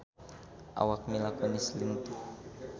Awak Mila Kunis lintuh